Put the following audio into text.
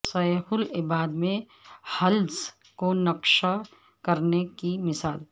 سہ العباد میں حلز کو نکشہ کرنے کی مثال